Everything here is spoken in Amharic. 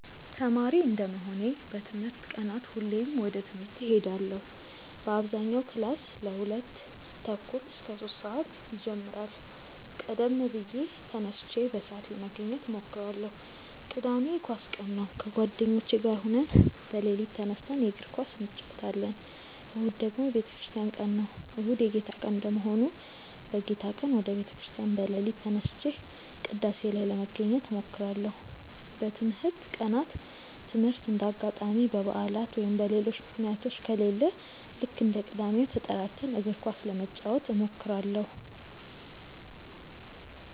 ተማሪ እንደመሆኔ በትምህርት ቀናት ሁሌም ወደ ትምህርት እሄዳለው በአብዛኛው ክላስ ከሁለት ተኩል እስከ ሶስት ሰአት ይጀምራል ቀደም ብዬ ተነስቼ በሰአት ለመገኘት እሞክራለው። ቅዳሜ የኳስ ቀን ነው ከጓደኞቼ ጋር ሆነን በሌሊት ተነስተን የእግር ኳስ እንጨወታለን። እሁድ ደግሞ የቤተክርስቲያን ቀን ነው። እሁድ የጌታ ቀን እንደመሆኑ በጌታ ቀን ወደ ቤተ ክርስቲያን በሌሊት ተነስቼ ቅዳሴ ላይ ለመገኘት እሞክራለው። በትምህርት ቀናት ትምህርት እንደ አጋጣሚ በባዕላት ወይም በሌሎች ምክንያቶች ከሌለ ልክ እንደ ቅዳሜው ተጠራርተን እግር ኳስ ለመጫወት እንሞክራለው።